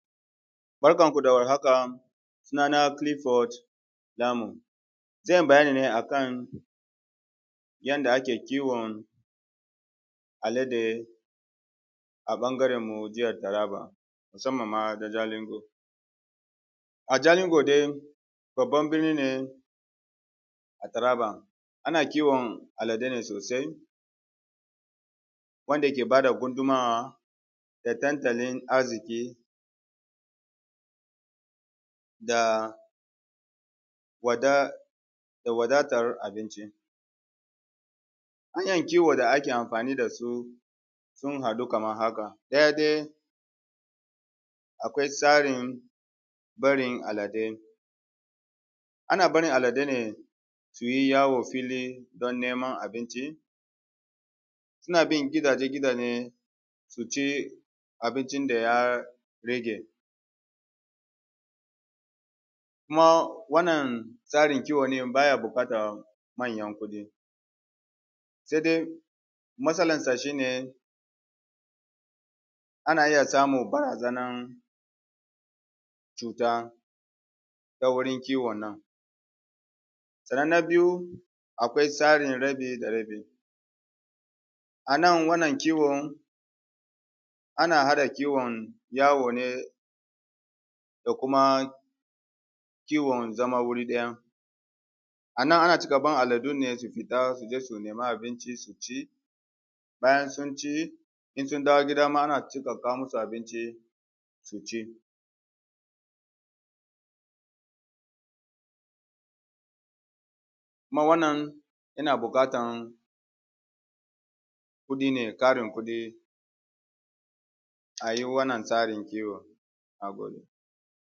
Barkanku da warhaka, suna na Clifford Lamun, zan yi bayani ne akan yanda ake kiwon alade a ɓangarenmu jihar Taraba musamman ma ta Jalingo. A Jalingo dai babban birni ne a Taraba, ana kiwon aladai ne sosai wanda ke ba da gudummawa da tattalin arziƙi da wada wadatar abinci. Hanyan kiwo da ake amfani da su sun haɗu kamar haka: Ɗaya dai akwai tsarin barin aladai; ana barin aladai ne su yi yawon fili don samun abinci, suna bin gidaje-gidaje su ci abincin da ya rage. Kuma wannan tsarin kiwo ɗin baya buƙatan manyan kuɗi, sai dai matsalarsa shi ne, ana iya samun barazanar cuta ta wurin kiwon nan. Sannan na biyu akwai tsarin rabi da rabi; anan wannan kiwo ana haɗa kiwon yawo ne da kuma kiwon zama wuri ɗaya. Ana cika bar aladun ne su fita su nema abinci su ci, bayan sun ci in sun dawo gida ma ana cika kawo musu abinci su ci. Kuma wannan yana buƙatan kuɗi ne, tarin kuɗi a yi wannan tsarin kiwo.